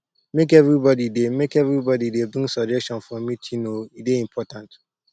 make everybodi dey make everybodi dey bring suggestion for meeting o e dey important